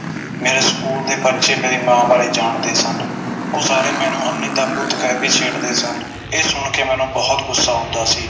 ਮੇਰੇ ਸਕੂਲ ਦੇ ਬੱਚੇ ਮੇਰੀ ਮਾਂ ਬਾਰੇ ਜਾਣਦੇ ਸਨ ਉਹ ਸਾਰੇ ਮੈਨੂੰ ਅੰਨ੍ਹੀ ਦਾ ਪੁੱਤ ਕਹਿ ਕੇ ਛੇੜਦੇ ਸਨ ਇਹ ਸੁਣ ਕੇ ਮੈਨੂੰ ਬੋਹੋਤ ਗੁੱਸਾ ਆਉਂਦਾ ਸੀ